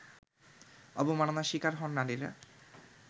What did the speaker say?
অবমাননার শিকার হন নারীরা